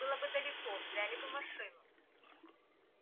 было бы далеко взяли бы машину